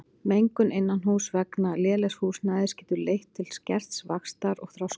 Mengun innanhúss vegna lélegs húsnæðis getur leitt til skerts vaxtar og þroskunar.